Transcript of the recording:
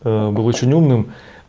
был очень умным